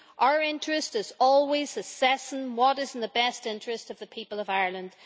our interest is always assessing what is in the best interest of the people of Ireland.